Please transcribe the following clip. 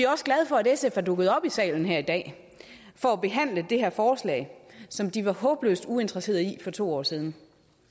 også glade for at sf er dukket op i salen her i dag for at behandle det her forslag som de var håbløst uinteresseret i for to år siden